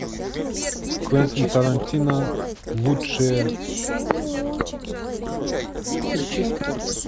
квентин тарантино лучшее